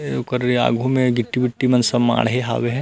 ए ओकर आघू में गिट्टी-विट्टी मन सब माढ़े हवे हे।